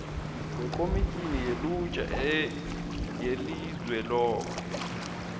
wekhomitjhini yelutjha yelizweloke